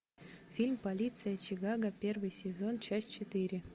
фильм полиция чикаго первый сезон часть четыре